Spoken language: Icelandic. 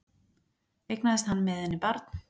Eignaðist hann með henni barn